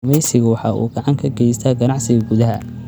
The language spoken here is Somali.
Kalluumaysigu waxa uu gacan ka geystaa ganacsiga gudaha.